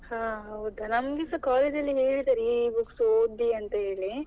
ಹಾ ಹೌದ ನಮ್ಗೆಸ college ಅಲ್ಲಿ ಹೇಳಿದ್ದಾರೆ ಈ ಈ books ಓದಿ ಅಂತ ಹೇಳಿ.